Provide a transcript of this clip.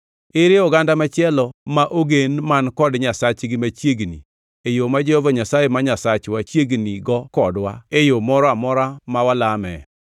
Ere oganda machielo ma ogen man kod nyasachgi machiegni e yo ma Jehova Nyasaye ma Nyasachwa chiegnigo kodwa e yo moro amora ma walame?